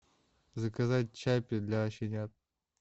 заказать чаппи для щенят